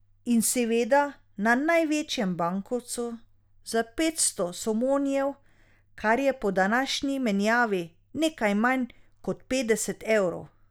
In seveda na največjem bankovcu za petsto somonijev, kar je po današnji menjavi nekaj manj kot petdeset evrov.